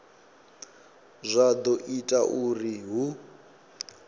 zwa do ita uri hu